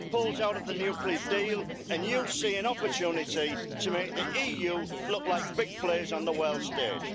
Trump pulls out of the nuclear deal and you see an opportunity to make the EU look like big players on the world stage.